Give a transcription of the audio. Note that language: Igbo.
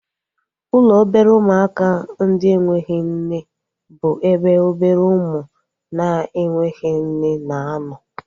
Ụlọ obere ụmụaka ndị enweghị nne bụ ebe obere ụmụ na-enweghị nne na-anọ